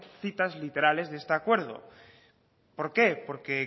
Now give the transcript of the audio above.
citas literales de este acuerdo por qué porque